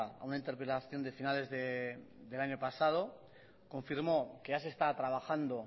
a una interpelación de finales del año pasado confirmó que ya se está trabajando